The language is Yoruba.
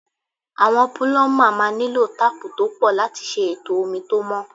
Àwọn púlọ́mà máa nílò táápù tó pọ̀ láti ṣe ètò omi tó mọ́.